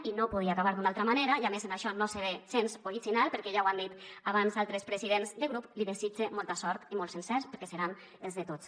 i no podia acabar d’una altra manera i a més en això no seré gens original perquè ja ho han dit abans altres presidents de grup li desitge molta sort i molts encerts perquè seran els de tots